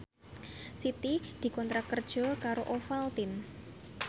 Siti dikontrak kerja karo Ovaltine